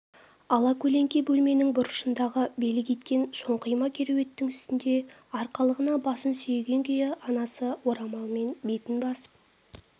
алакөлеңке бөлменің бұрышындағы белі кеткен шоңқима кереуеттің үстінде арқалығына басын сүйеген күйі анасы орамалмен бетін басып